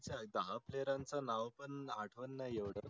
दहा PLAYER च नाव पण आठवत नाही एवढ